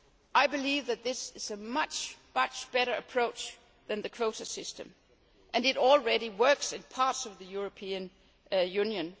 I believe that this is a much, much better approach than the quota system, and it already works in parts of the European Union.